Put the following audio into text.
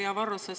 Hea Varro!